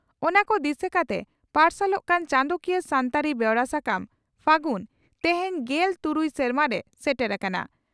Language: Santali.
ᱚᱱᱟ ᱠᱚ ᱫᱤᱥᱟᱹ ᱠᱟᱛᱮ ᱯᱟᱨᱥᱟᱞᱚᱜ ᱠᱟᱱ ᱪᱟᱸᱫᱚᱠᱤᱭᱟᱹ ᱥᱟᱱᱛᱟᱲᱤ ᱵᱮᱣᱨᱟ ᱥᱟᱠᱟᱢ 'ᱯᱷᱟᱹᱜᱩᱱ' ᱛᱮᱦᱮᱧ ᱜᱮᱞ ᱛᱩᱨᱩᱭ ᱥᱮᱨᱢᱟᱨᱮ ᱥᱮᱴᱮᱨ ᱟᱠᱟᱱᱟ ᱾